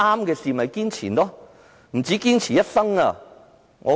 其實，應該不止堅持一生。